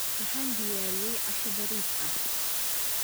Waxaan diyaariyey casho bariis ah.